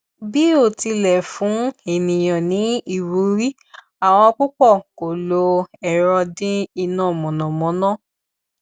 bí ó tilẹ fún ènìyàn ní ìwúrí àwọn púpọ kọ lo ẹrọ dín iná mànàmáná